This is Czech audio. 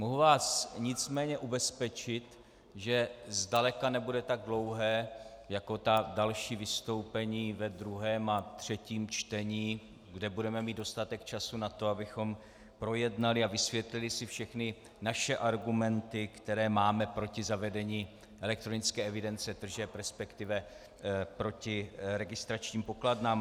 Mohu vás nicméně ubezpečit, že zdaleka nebude tak dlouhé jako ta další vystoupení ve druhém a třetím čtení, kde budeme mít dostatek času na to, abychom projednali a vysvětlili si všechny naše argumenty, které máme proti zavedení elektronické evidence tržeb, respektive proti registračním pokladnám.